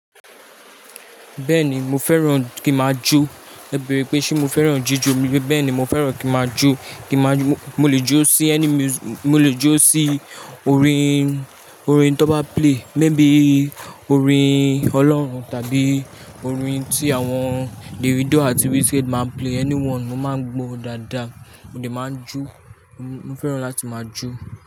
Bẹẹni mo fẹràn ki i maa jó e bẹrẹ̀ pé ṣé mo fẹ́ràn jíjọ ni? Bẹ́ẹ̀ni mo fẹ́ràn kí máa jó. Mo lè jó sí any music, mo lè jó sí orin tó bá play, maybe orin ọlọ́run tàbí orin tí àwọn Davido àti Wizkid máa ń play, anyone mo máa ń gbọ́ dáadáa. Mo lè máa jó. Mo fẹ́ràn láti máa jó.